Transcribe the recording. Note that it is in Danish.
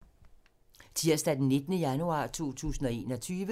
Tirsdag d. 19. januar 2021